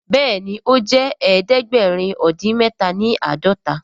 Béèni o jé ẹdẹgbẹrin odin mẹta ní ãdọta.